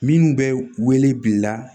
Minnu bɛ wele bila